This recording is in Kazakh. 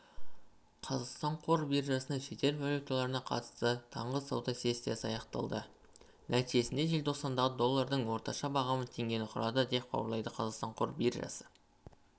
қазақстан қор биржасында шетел валюталарына қатысты таңғысауда сессиясы аяқталды нәтижесінде желтоқсандағы доллардың орташабағамы теңгені құрады деп хабарлайды қазақстандық қор биржасының ресми